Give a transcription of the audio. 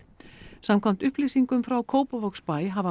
samkvæmt upplýsingum frá Kópavogsbæ hafa